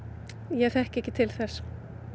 ég þekki ekki til þess